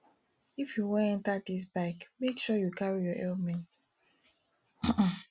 if you wan enter dis bike make sure you carry your helmet um um